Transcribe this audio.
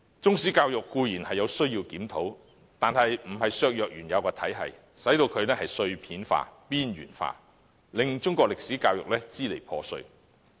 當局固然需要檢討中史教育，但不應削弱原有體系，令中史教育變得支離破碎。